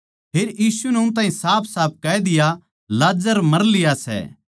फेर यीशु नै उन ताहीं साफसाफ कह दिया लाजर मर लिया सै